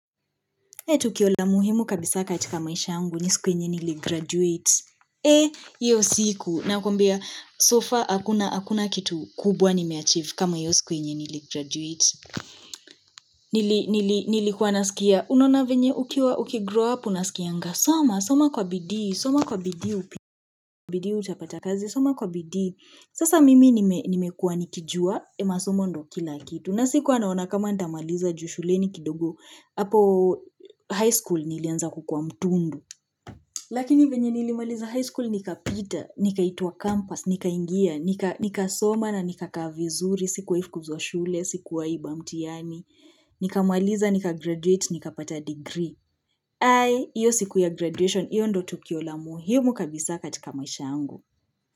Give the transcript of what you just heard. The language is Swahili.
Ehh tukio la muhimu kabisa kati maisha yangu ni siku yenye ''niligraduate''. Ehh hiyo siku nakuambia ''so far'' hakuna hakuna kitu kubwa ''nimeachieve'' kama hiyo siku yenye ''niligraduate''. Nilikuwa nasikia unaona venye ukiwa ''ukigrow up'' unasikianga. Soma, soma kwa bidii, soma kwa bidii upite utapata kazi, soma kwa bidii. Sasa mimi nimekuwa nikijua masoma ndio kila kitu. Na sikuwa naona kama nitamaliza juu shuleni kidogo hapo ''high school'' nilianza kukuwa mtundu lakini venye nilimaliza high school nikapita nikaitwa ''campus'', nikaingia, nikasoma na nikakaa vizuri sikuwaifukuzwa shule, sikuwaiba mtihani nikamaliza, ''nikagraduate'', nikapata ''degree'' hai, iyo siku ya ''graduation'', iyo ndio tukio la muhimu kabisa katika maisha yangu.